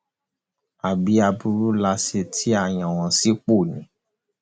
àbí aburú la ṣe tí a yàn wọn sípò ni